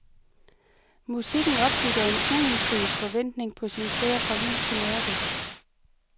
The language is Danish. Musikken opbygger en uindfriet forventning på sin færd fra lys til mørke.